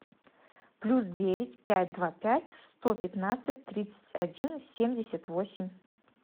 плюс девять пять два пять сто пятнадцать тридцать один семьдесят восемь